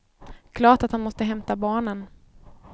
Klart att han måste hämta barnen.